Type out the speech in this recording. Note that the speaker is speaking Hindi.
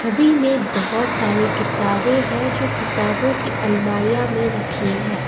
में बहुत सारे किताबे है जो किताबों की अलमारियां मे रखी है।